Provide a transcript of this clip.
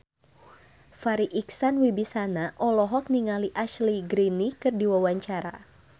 Farri Icksan Wibisana olohok ningali Ashley Greene keur diwawancara